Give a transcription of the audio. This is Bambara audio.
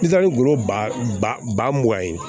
I taa ni gulɔ ba mugan ye